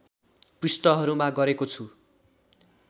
पृष्ठहरूमा गरेको छु